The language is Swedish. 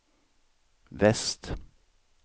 väst